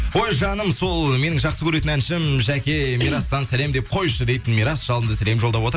ой жаным сол менің жақсы көретін әншім жәке мирастан сәлем деп қойшы дейді мирас жалынды сәлем жолдап отыр